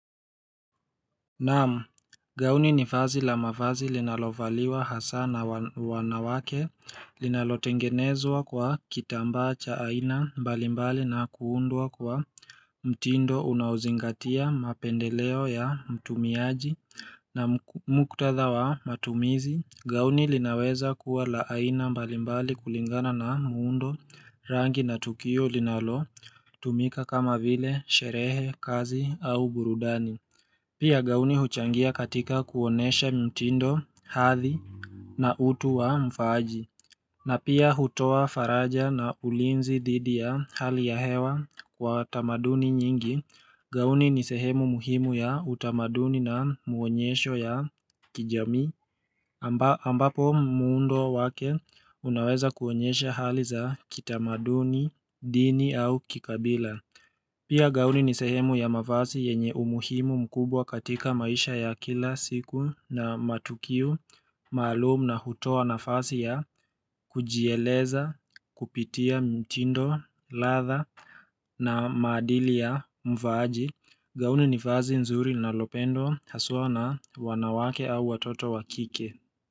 Naamu, gauni ni vazi la mavazi linalovaliwa hasaa na wa wanawake, linalotengenezwa kwa kitambaa cha aina mbalimbali na kuundwa kwa mtindo unauzingatia mapendeleo ya mtumiaji na muktadha wa matumizi, gauni linaweza kuwa la aina mbalimbali kulingana na muundo rangi na tukio linalotumika kama vile sherehe, kazi au burudani. Pia gauni huchangia katika kuonesha mitindo, hathi na utu wa mfaaji. Na pia hutowa faraja na ulinzi thidi ya hali ya hewa kwa watamaduni nyingi. Gauni ni sehemu muhimu ya utamaduni na muonyesho ya kijamii ambapo muundo wake unaweza kuonyesha hali za kitamaduni, dini au kikabila. Pia gauni ni sehemu ya mavazi yenye umuhimu mkubwa katika maisha ya kila siku na matukio, maalum na hutoa nafasi ya kujieleza, kupitia mtindo, latha na maadili ya mvaaji. Gauni ni vazi nzuri linalopendwa, haswaa na wanawake au watoto wa kike.